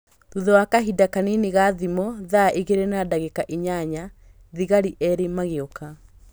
Thutha wa kahinda kanini ga thimo thaa igĩrĩ na ndagĩka inyanya, thigari erĩ magĩũka